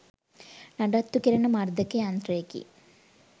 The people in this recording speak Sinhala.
නඩත්තු කෙරෙන මර්ධක යන්ත්‍රයකි.